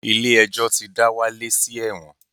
Ilé-ẹjọ̀ ti dá Wálé sí ẹ̀wọ̀n